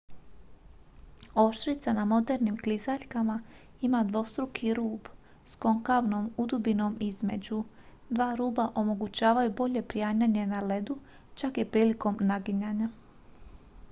oštrica na modernim klizaljkama ima dvostruki rub s konkavnom udubinom između dva ruba omogućavaju bolje prianjanje na ledu čak i prilikom naginjanja